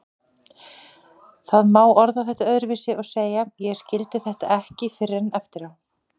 Það má orða þetta öðruvísi og segja: Ég skildi þetta ekki fyrr en eftir á.